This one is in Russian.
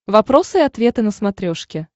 вопросы и ответы на смотрешке